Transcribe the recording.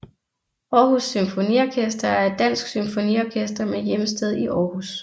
Aarhus Symfoniorkester er et dansk symfoniorkester med hjemsted i Aarhus